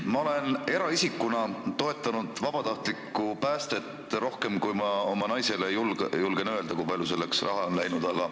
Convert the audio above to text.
Ma olen eraisikuna toetanud vabatahtlikku päästet rohkem, kui ma julgen oma naisele öelda, kui palju on selleks raha läinud.